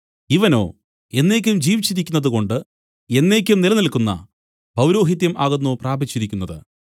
ഇവനോ എന്നേക്കും ജീവിച്ചിരിക്കുന്നതുകൊണ്ട് എന്നേക്കും നിലനിൽക്കുന്ന പൗരോഹിത്യം ആകുന്നു പ്രാപിച്ചിരിക്കുന്നത്